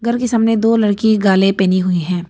घर के सामने दो लड़की गाले पहनी हुई है।